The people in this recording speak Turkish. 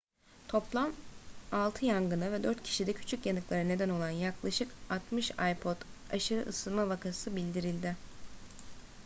toplam altı yangına ve dört kişide küçük yanıklara neden olan yaklaşık 60 ipod aşırı ısınma vakası bildirildi